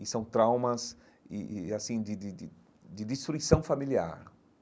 E são traumas e e e assim de de de de destruição familiar.